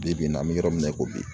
Bi bi in na an bɛ yɔrɔ min na i ko bi